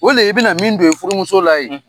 O le ye i bi na min don i furumuso la ye.